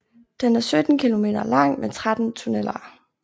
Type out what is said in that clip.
Den er 17 km lang med 13 tunneler